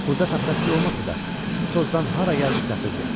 Burda taxtapiti olmasa da, bu tozdan hara gəldi səpirdi.